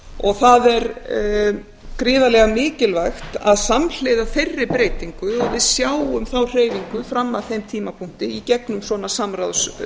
og það er gríðarlega mikilvægt að samhliða þeirri breytingu og við sjáum þá hreyfingu fram að þeim tímapunkti í gegnum svona